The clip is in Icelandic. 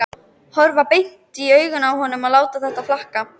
Horfa beint í augun á honum og láta þetta flakka.